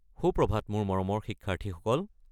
সুপ্ৰভাত, মোৰ মৰমৰ শিক্ষাৰ্থীসকল।